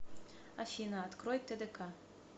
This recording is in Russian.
афина открой тдк